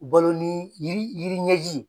Balo ni yiri ,yiri ɲɛji ye.